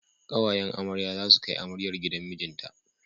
Ƙawayen amarya za su kai amaryar gidan mijinta.